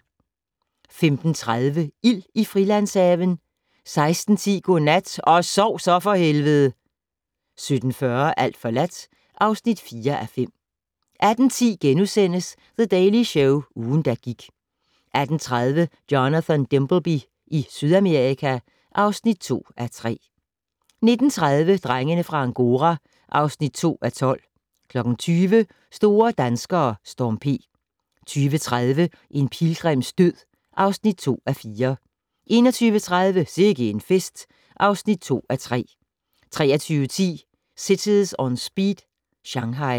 15:30: Ild i Frilandshaven 16:10: Godnat - og sov så for helvede! 17:40: Alt forladt (4:5) 18:10: The Daily Show - ugen, der gik * 18:30: Jonathan Dimbleby i Sydamerika (2:3) 19:30: Drengene fra Angora (2:12) 20:00: Store danskere: Storm P 20:30: En pilgrims død (2:4) 21:30: Sikke en fest (2:3) 23:10: Cities On Speed - Shanghai